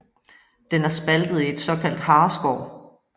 Den er spaltet i et såkaldt hareskår